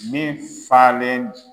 Min falen.